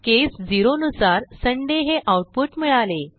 केस 0 नुसार सुंदय हे आऊटपुट मिळाले